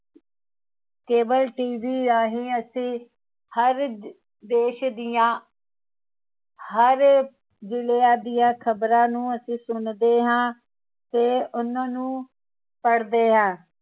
cableTV ਰਾਹੀਂ ਅਸੀਂ ਹਰ ਦੇਸ਼ ਦੀਆਂ ਹਰ ਜਿਲਿਆਂ ਦੀਆਂ ਖ਼ਬਰਾਂ ਨੂੰ ਅਸੀਂ ਸੁਣਦੇ ਹਾਂ ਤੇ ਉਹਨਾਂ ਨੂੰ ਪੜ੍ਹਦੇ ਹਾਂ